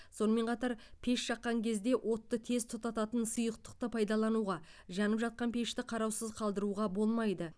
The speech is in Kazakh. сонымен қатар пеш жаққан кезде отты тез тұтататын сұйықты пайдалануға жанып жатқан пешті қараусыз қалдыруға болмайды